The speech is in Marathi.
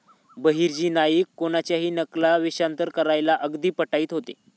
बहिर्जी नाईक कुणाच्याही नकला, वेषांतर करायला अगदी पटाईत होते.